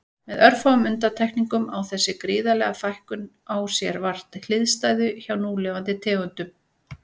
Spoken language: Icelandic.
Með örfáum undantekningum á þessi gríðarlega fækkun á sér vart hliðstæðu hjá núlifandi tegundum.